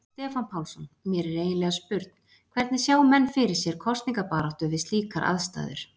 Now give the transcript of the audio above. Stefán Pálsson: Mér er eiginlega spurn, hvernig sjá menn fyrir sér kosningabaráttu við slíkar aðstæður?